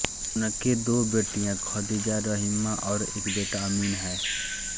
उनके दो बेटीयाँ खदिजा रहीमा और एक बेटा अमीन हैं